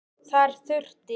Þar þurfti